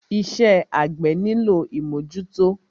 Iṣẹ́ àgbẹ́ nílò ìmọ́jútọ́.